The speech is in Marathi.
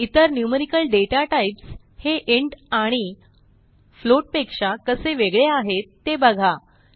इतर न्यूमेरिकल दाता टाइप्स हे इंट आणि फ्लोट पेक्षा कसे वेगळे आहेत ते बघा